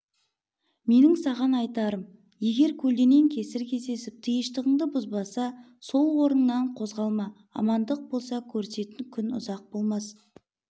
менің саған айтарым егер көлденең кесір кездесіп тиыштығыңды бұзбаса сол орыннан қозғалма амандық болса көрісетін күн ұзақ болмас